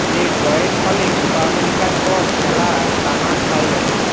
এ ড্রয়ের ফলে কোপা আমেরিকার পর খেলা টানা ছয় ম্যাচে